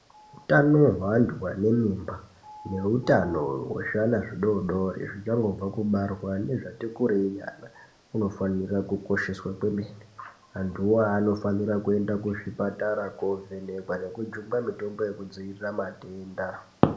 Hutano hwevantu vane mimba nehutano hwezviana zvidodori zvichangobva kubarwa nezvati kurei unofanirwa kukosheswa kwemene antu iwawo anofanira kuenda kuchipatara kovhenekwa nekujungwa mitombo yekudzivirira matenda.